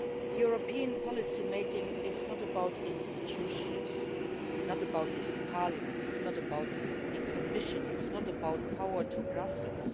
European policy making is not about institutions, it is not about this Parliament, it is not about the Commission, it is not about power to Brussels.